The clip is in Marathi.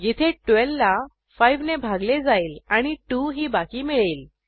येथे 12 ला 5 ने भागले जाईल आणि 2 ही बाकी मिळेल